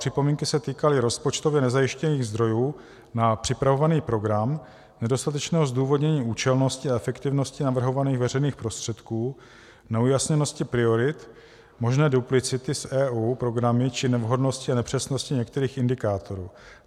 Připomínky se týkaly rozpočtově nezajištěných zdrojů na připravovaný program, nedostatečného zdůvodnění účelnosti a efektivnosti navrhovaných veřejných prostředků, neujasněnosti priorit, možné duplicity s EU programy či nevhodnosti a nepřesnosti některých indikátorů.